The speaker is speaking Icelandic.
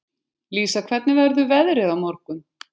Lísa, hvernig verður veðrið á morgun?